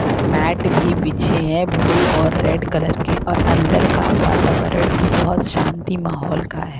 Met भी बिछे हैं ब्लू और रेड कलर के और अंदर का वातावरण भी बहुत शांति माहौल का है।